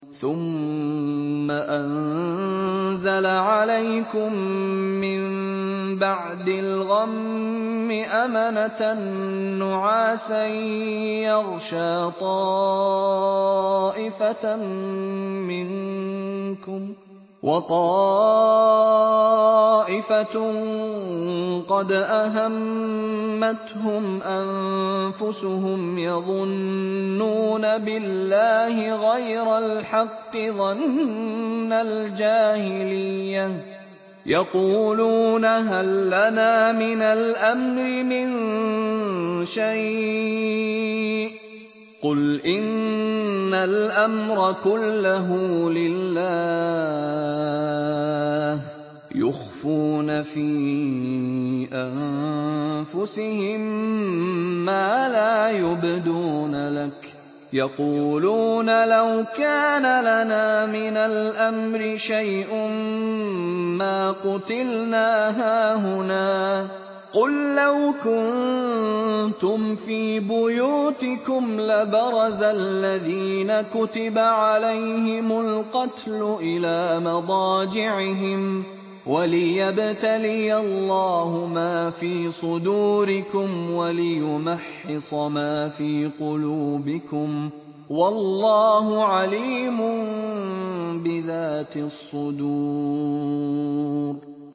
ثُمَّ أَنزَلَ عَلَيْكُم مِّن بَعْدِ الْغَمِّ أَمَنَةً نُّعَاسًا يَغْشَىٰ طَائِفَةً مِّنكُمْ ۖ وَطَائِفَةٌ قَدْ أَهَمَّتْهُمْ أَنفُسُهُمْ يَظُنُّونَ بِاللَّهِ غَيْرَ الْحَقِّ ظَنَّ الْجَاهِلِيَّةِ ۖ يَقُولُونَ هَل لَّنَا مِنَ الْأَمْرِ مِن شَيْءٍ ۗ قُلْ إِنَّ الْأَمْرَ كُلَّهُ لِلَّهِ ۗ يُخْفُونَ فِي أَنفُسِهِم مَّا لَا يُبْدُونَ لَكَ ۖ يَقُولُونَ لَوْ كَانَ لَنَا مِنَ الْأَمْرِ شَيْءٌ مَّا قُتِلْنَا هَاهُنَا ۗ قُل لَّوْ كُنتُمْ فِي بُيُوتِكُمْ لَبَرَزَ الَّذِينَ كُتِبَ عَلَيْهِمُ الْقَتْلُ إِلَىٰ مَضَاجِعِهِمْ ۖ وَلِيَبْتَلِيَ اللَّهُ مَا فِي صُدُورِكُمْ وَلِيُمَحِّصَ مَا فِي قُلُوبِكُمْ ۗ وَاللَّهُ عَلِيمٌ بِذَاتِ الصُّدُورِ